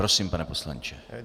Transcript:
Prosím, pane poslanče.